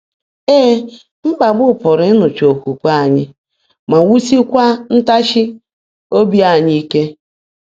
Ee, mkpagbu pụrụ ịṅụcha okwukwe anyị ma wusikwaa ntachi obi anyị ike.